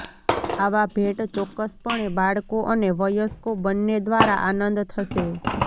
આવા ભેટ ચોક્કસપણે બાળકો અને વયસ્કો બંને દ્વારા આનંદ થશે